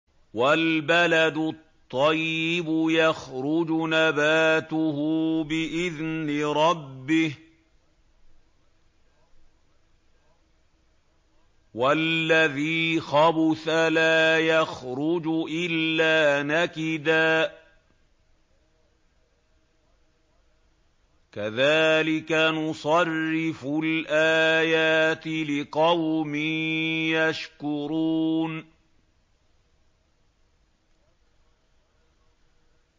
وَالْبَلَدُ الطَّيِّبُ يَخْرُجُ نَبَاتُهُ بِإِذْنِ رَبِّهِ ۖ وَالَّذِي خَبُثَ لَا يَخْرُجُ إِلَّا نَكِدًا ۚ كَذَٰلِكَ نُصَرِّفُ الْآيَاتِ لِقَوْمٍ يَشْكُرُونَ